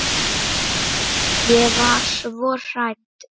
Ég var svo hrædd.